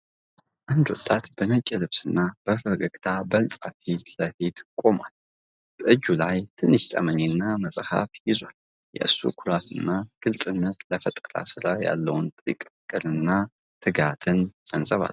አንድ ወጣት በነጭ ልብስና በፈገግታ በህንፃ ፊት ለፊት ቆሟል። በእጁ ላይ ትንሽ ጠመኔ እና መጽሃፍ ይዟል። የእሱ ኩራት እና ግልጽነት ለፈጠራው ሥራ ያለውን ጥልቅ ፍቅርና ትጋት ያንጸባርቃል።